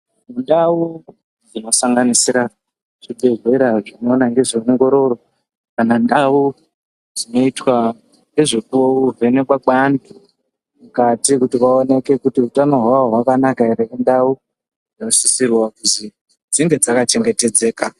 Ndau dzinosanganisira zvibhedhlera zvinoona ngezveongororo kana ndau dzinoitwa nevekuvhenekwa kweanhu mukati kuti vaoneke kuti utano hwavo hwakanaka ere indau dzinosisra kuzwi dzinge dzakachengetedzeka.